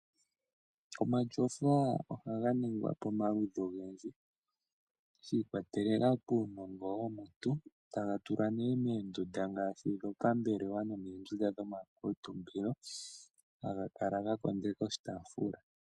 Omatyofa ohaga ningwa pamaludhi ogendji sha ikwatelela kuunongo womuntu, taga tulwa nee moondunda ngaashi dhopambelelwa nenge moondunda dhomakuutumbilo, haga kala ga kondeka oshitaafula.